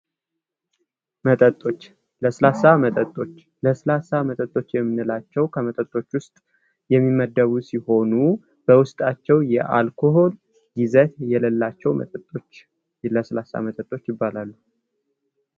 መጠጦች ለስላሳ መጠጦች:- ለስላሳ መጠጦች የምንላቸዉ ከመጠጦች ዉስጥ የሚመደቡ ሲሆኑ በዉስጣቸዉ የአልኮል ይዘት የሌላቸዉ መጠጦች ለስላሳ መጠጦች ይባላሉ።